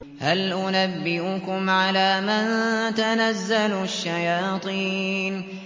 هَلْ أُنَبِّئُكُمْ عَلَىٰ مَن تَنَزَّلُ الشَّيَاطِينُ